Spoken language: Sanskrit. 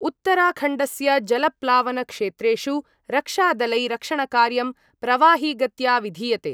उत्तराखण्डस्य जलप्लावनक्षेत्रेषु रक्षादलै रक्षणकार्यं प्रवाहिगत्या विधीयते।